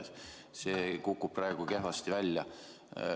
See kukub praegu kehvasti välja.